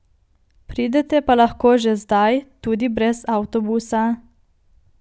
Pridete pa lahko že zdaj, tudi brez avtobusa.